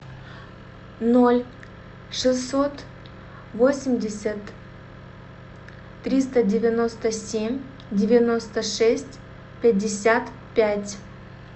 ноль шестьсот восемьдесят триста девяносто семь девяносто шесть пятьдесят пять